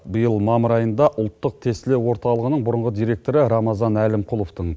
биыл мамыр айында ұлттық тестілеу орталығының бұрынғы директоры рамазан әлімқұловтың